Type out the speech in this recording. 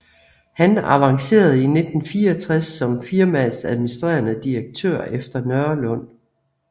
Han avancerede i 1964 som firmaets administrerende direktør efter Nørlund